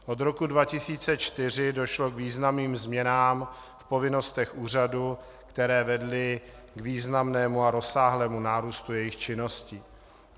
Od roku 2004 došlo k významným změnám v povinnostech úřadu, které vedly k významnému a rozsáhlému nárůstu jejich činnosti.